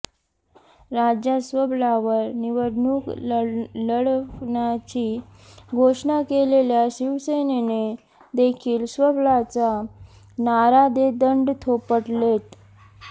राज्यात स्वबळावर निवडणूक लढवण्याची घोषणा केलेल्या शिवसेनेने देखील स्वबळाचा नारा देत दंड थोपटलेत